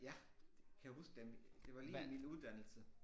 Ja kan huske da det var lige i min uddannelse